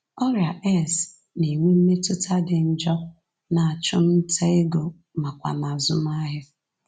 Ọrịa AIDS na-enwe mmetụta dị njọ n’achụmnta ego nakwa n’azụmahịa.